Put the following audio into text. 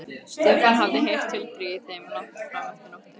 Stefán hafði heyrt tuldrið í þeim langt fram eftir nóttu.